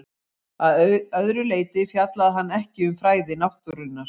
Að öðru leyti fjallaði hann ekki um fræði náttúrunnar.